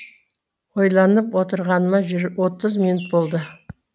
ойланып отырғаныма отыз минут болды